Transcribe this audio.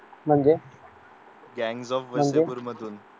म्हणजे